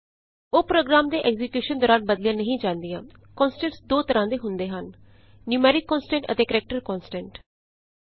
ਉਹ ਪ੍ਰੋਗਰਾਮ ਦੇ ਐਕਜ਼ੀਕਯੂਸ਼ਨ ਦੌਰਾਨ ਬਦਲੀਆਂ ਨਹੀਂ ਜਾਂਦੀਆਂਕੋਨਸਟੈਂਟਸ ਦੋ ਤਰ੍ਹਾਂ ਦੇ ਹੁੰਦੇ ਹਨ ਨਯੂਮੈਰਿਕ ਕੋਨਸਟੈਂਟਸ ਅਤੇ ਕਰੈਕਟਰ ਕੋਨਸਟੈਂਟਸ